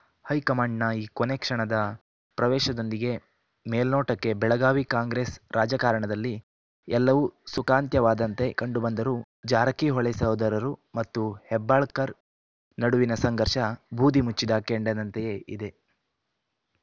ಹೈಕಮಾಂಡ್‌ನ ಈ ಕೊನೇಕ್ಷಣದ ಪ್ರವೇಶದೊಂದಿಗೆ ಮೇಲ್ನೋಟಕ್ಕೆ ಬೆಳಗಾವಿ ಕಾಂಗ್ರೆಸ್‌ ರಾಜಕಾರಣದಲ್ಲಿ ಎಲ್ಲವೂ ಸುಖಾಂತ್ಯವಾದಂತೆ ಕಂಡುಬಂದರೂ ಜಾರಕಿಹೊಳಿ ಸಹೋದರರು ಮತ್ತು ಹೆಬ್ಬಾಳ್ಕರ್‌ ನಡುವಿನ ಸಂಘರ್ಷ ಬೂದಿ ಮುಚ್ಚಿದ ಕೆಂಡದಂತೆಯೇ ಇದೆ